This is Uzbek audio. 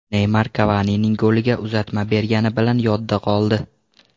Neymar Kavanining goliga uzatma bergani bilan yodda qoldi.